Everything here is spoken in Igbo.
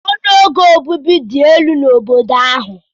Ọnụ ego obibi dị elu n'obodo ahụ.